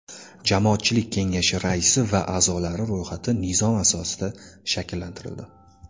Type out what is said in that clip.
Jamoatchilik kengashi raisi va a’zolari ro‘yxati nizom asosida shakllantirildi.